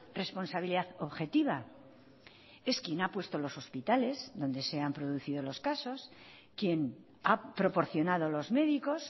responsabilidad objetiva es quien ha puesto los hospitales donde se han producido los casos quien ha proporcionado los médicos